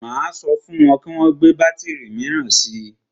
Máa sọ fún wọn kí wọn gbé bátìrì míràn si.